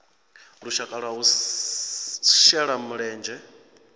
lushaka lwa u shela mulenzhe